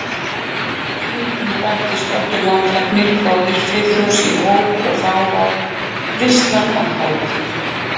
Stundum bættist Oddur landlæknir, bróðir Friðþjófs, í hóp og þá varð veislan að hátíð.